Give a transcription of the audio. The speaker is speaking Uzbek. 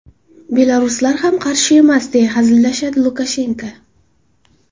Belaruslar ham qarshi emas”, deya hazillashadi Lukashenko.